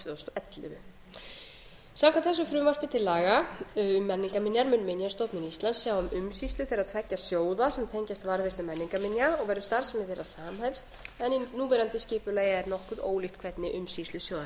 tvö þúsund og ellefu samkvæmt þessu frumvarpi til laga um menningarminjar mun minjastofnun íslands sjá um umsýslu þeirra tveggja sjóða sem tengjast varðveislu menningarminja og verður starfsemi þeirra sam en í núverandi skipulagi er nokkuð ólíkt hvernig umsýslu sjóðanna er